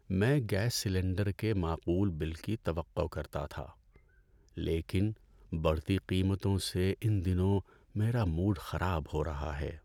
میں gas cylinder کے معقول بل کی توقع کرتا تھا، لیکن بڑھتی قیمتوں سے ان دنوں میرا موڈ خراب ہو رہا ہے۔